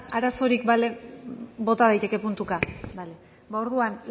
arazorik balego bota daiteke puntuka bale ba orduan